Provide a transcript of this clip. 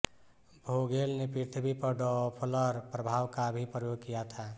Vogel ने पृथ्वी पर डॉप्लर प्रभाव का भी प्रयोग किया था